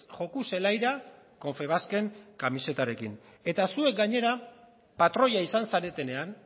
joko zelaira confebasken kamisetarekin eta zuek gainera patroia izan zaretenean